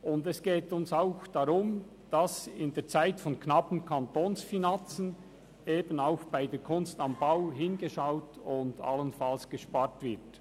Und es geht uns auch darum, dass in der Zeit knapper Kantonsfinanzen eben auch bei der «Kunst am Bau» hingeschaut und allenfalls gespart wird.